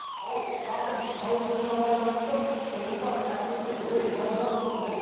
ал қардың қалыңдығына байланысты тұрғындар әсіресе ойын балалары мынандай